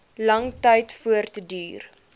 lang tyd voortduur